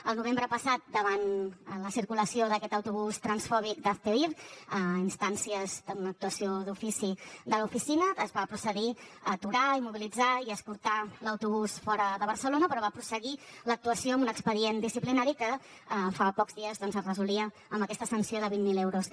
el novembre passat davant la circulació d’aquest autobús transfòbic d’hazte oír a instàncies d’una actuació d’ofici de l’oficina es va procedir a aturar immobilitzar i escortar l’autobús fora de barcelona però va prosseguir l’actuació amb un expedient disciplinari que fa pocs dies doncs es resolia amb aquesta sanció de vint mil euros